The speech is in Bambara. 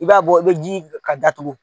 I b'a bɔ i bɛ ji ka datugu.